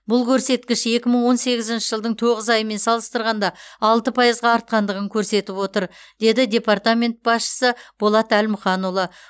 бұл көрсеткіш екі мың он сегізінші жылдың тоғыз айымен салыстырғанда алты пайызға артқандығын көрсетіп отыр деді департамент басшысы болат әлмұханұлы